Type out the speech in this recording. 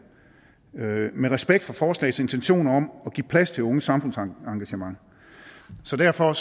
med respekt for forslagets intentioner om at give plads til unges samfundsengagement så derfor